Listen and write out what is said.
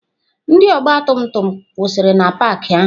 Ndị ọgbatumtum kwụsịrị na paakị ahụ.